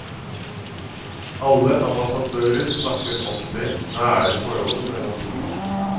Alle ambassadører snakker om det nære forholdet mellom to land.